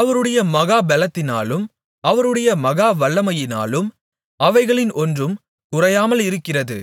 அவருடைய மகா பெலத்தினாலும் அவருடைய மகா வல்லமையினாலும் அவைகளில் ஒன்றும் குறையாமலிருக்கிறது